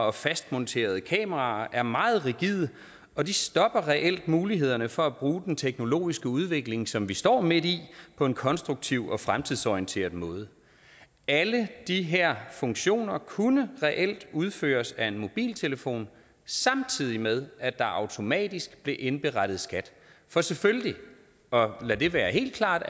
og fastmonterede kameraer er meget rigide og de stopper reelt mulighederne for at bruge den teknologiske udvikling som vi står midt i på en konstruktiv og fremtidsorienteret måde alle de her funktioner kunne reelt udføres af en mobiltelefon samtidig med at der automatisk blev indberettet skat for selvfølgelig og lad det være helt klart